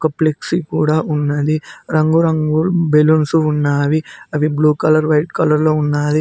ఒక ఫ్లెక్సీ కూడా ఉన్నది రంగురంగుల్ బెలూన్సు ఉన్నావి అవి బ్లూ కలర్ వైట్ కలర్ లో ఉన్నాది.